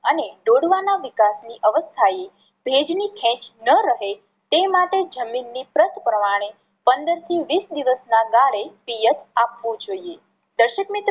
અને ડોડવા ના વિકાસ ની અવસ્થાએ ભેજ ની ખેચ ન રહે તે માટે જમીન ની પ્રત પ્રમાણે પંદર થી વીસ દિવસ ના ગાળે પિયત આપવું જોઈએ. દર્શક મિત્રો